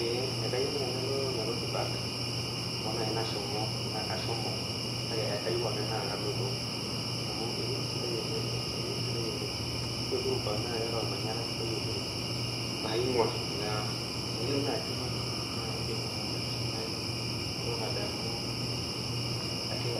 Ee kai nai nalo nairobi park na ashomo nakeyieu ake na kaloito ore uhuru park na ormanyara sidai oleng na tenilo nai na indik ashomo aitiringa